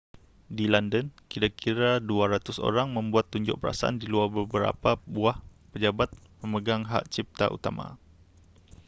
di london kira-kira 200 orang membuat tunjuk perasaan di luar beberapa buah pejabat pemegang hak cipta utama